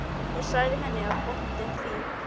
Ég sagði henni að bóndinn í